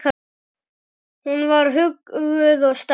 Hún var huguð og sterk.